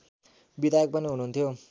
विधायक पनि हुनुहुन्थ्यो